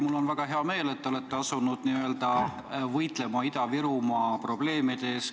Mul on väga hea meel, et te olete asunud võitlema Ida-Virumaa probleemide lahendamise eest.